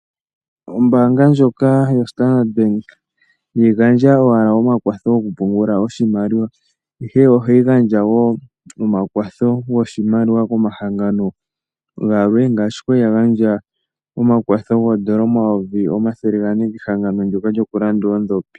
Ombaanga ndjoka yo Standard bank iha yi gandja owala omakwatho goku pungula oshimaliwa, ihe oha yi gandja woo omakwatho goshimaliwa koma hangano galwe ngaashi kwali ya gandja omakwatho goodola 400000 ke hangano ndoka djoku landa oondhopi.